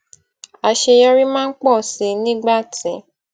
àṣeyọrí máa ń pọ sí i nígbà tí